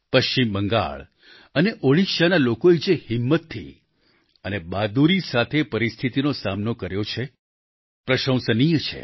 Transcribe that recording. પશ્ચિમ બંગાળ અને ઓડિશાના લોકોએ જે હિંમતથી અને બહાદુરી સાથે પરિસ્થિતીનો સામનો કર્યો છે પ્રશંસનીય છે